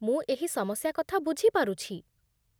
ମୁଁ ଏହି ସମସ୍ୟା କଥା ବୁଝି ପାରୁଛି।